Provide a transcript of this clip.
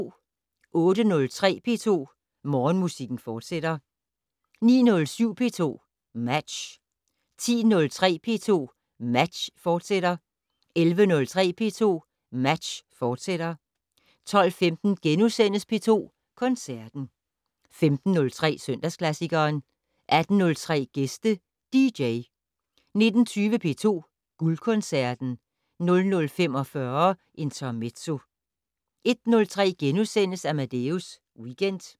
08:03: P2 Morgenmusik, fortsat 09:07: P2 Match 10:03: P2 Match, fortsat 11:03: P2 Match, fortsat 12:15: P2 Koncerten * 15:03: Søndagsklassikeren 18:03: Gæste dj 19:20: P2 Guldkoncerten 00:45: Intermezzo 01:03: Amadeus Weekend *